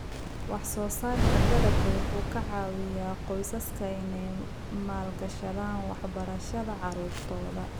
Wax-soo-saarka dalagga wuxuu ka caawiyaa qoysaska inay maal-gashadaan waxbarashada caruurtooda.